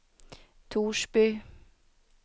Torsby